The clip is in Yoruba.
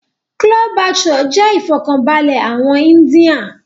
Chole Bhature jẹ́ ifọkanbalẹ àwọn íńdía